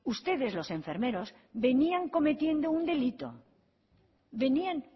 ustedes los enfermeros venían cometiendo un delito venían